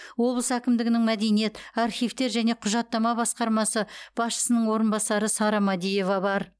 облыс әкімдігінің мәдениет архивтер және құжаттама басқармасы басшысының орынбасары сара мәдиева бар